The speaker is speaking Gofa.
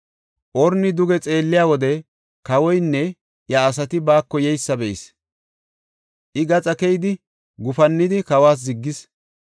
Orni duge xeelliya wode, kawoynne iya asati baako yeysa be7is. I gaxa keyidi, gufannidi kawas ziggis.